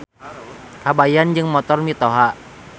Kabayan Jeung Motor Mitoha.